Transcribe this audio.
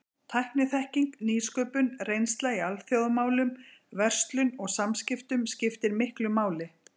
Tækniþekking, nýsköpun, reynsla í alþjóðamálum, verslun og samskiptum skiptir miklu máli.